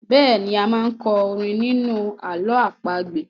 Bẹ́ẹ̀ni,a máa n kọ orin ní inú ààlọ́ àpagbè